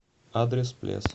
адрес плес